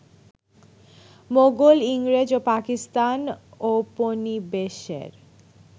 মোগল, ইংরেজ ও পাকিস্তান ঔপনিবেশের